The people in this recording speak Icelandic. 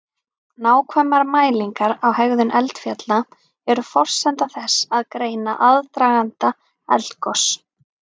Nákvæmar mælingar á hegðun eldfjalla eru forsenda þess að greina aðdraganda eldgos.